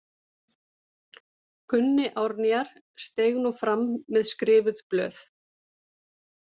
Gunni Árnýjar steig nú fram með skrifuð blöð.